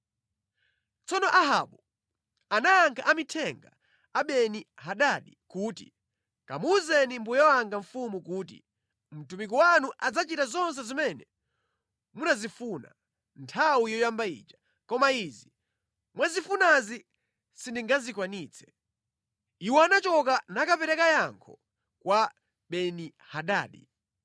Tsono Ahabu anayankha amithenga a Beni-Hadadi kuti, “Kamuwuzeni mbuye wanga mfumu kuti, ‘Mtumiki wanu adzachita zonse zimene munazifuna nthawi yoyamba ija, koma izi mwazifunazi sindingazikwanitse.’ ” Iwo anachoka nakapereka yankho kwa Beni-Hadadi.